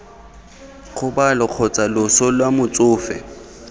kgobalo kgotsa loso lwa motsofe